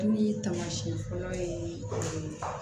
Ni taamasiyɛn fɔlɔ ye